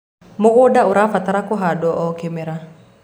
mũgũnda ũrabatara kuhandwo o kĩmera